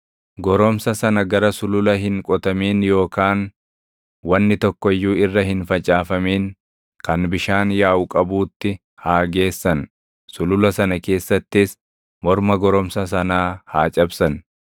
goromsa sana gara sulula hin qotamin yookaan wanni tokko iyyuu irra hin facaafamin kan bishaan yaaʼu qabuutti haa geessan. Sulula sana keessattis morma goromsa sanaa haa cabsan.